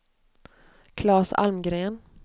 Claes Almgren